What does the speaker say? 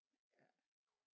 Ja